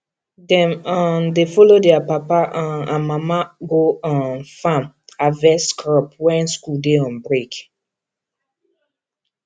dem um dey follow their papa um and mama go um farm harvest crop when school dey on break